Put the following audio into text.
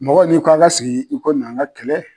Mɔgɔ n'i ko a ka sigi i ko na an ka kɛlɛ.